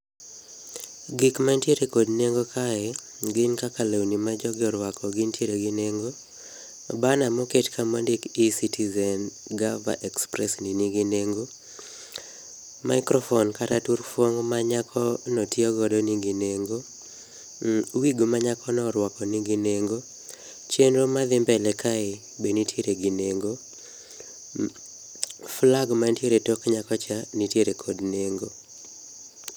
Gik mantiere kod nengo kae gin kaka lewni majogi orwako gintiere gi nengo. Bana moket ka mondik eCitizen gava express ni nigi nengo. Maikrofon kata turfuong' manyakono tiyogo nigi nengo . Wig manyakono orwako nigi nengo. Chenro madhi mbele kae be nitiere gi nengo. Flag ma ntiere e tok nyakocha nitiere kod nengo.